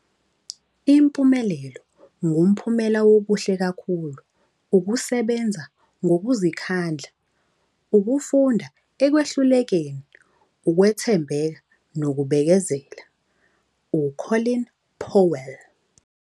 'Impumelelo ngumphumela wokuhle kakhulu, ukusebenza ngokuzikhandla, ukufunda ekwehlulekeni, ukwethembeka, nokubekezela.' - u-Colin Powell.